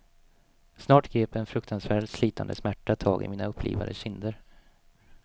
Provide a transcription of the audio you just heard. Snart grep en fruktansvärd, slitande smärta tag i mina upplivade kinder.